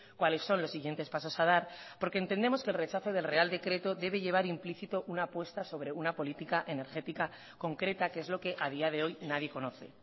cuáles son los siguientes pasos a dar porque entendemos que el rechazo del real decreto debe llevar implícito una apuesta sobre una política energética concreta que es lo que a día de hoy nadie conoce